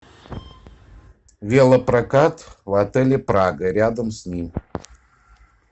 велопрокат в отеле прага рядом с ним